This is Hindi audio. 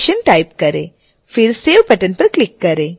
फिर save बटन पर क्लिक करें